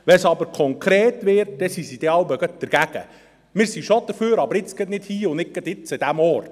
Wenn es aber konkret wird, sind sie jeweils gleich dagegen im Sinne von: Wir sind zwar schon dafür, aber gerade jetzt nicht und nicht an diesem Ort.